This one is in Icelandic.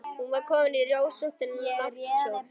Hún var komin í rósóttan náttkjól.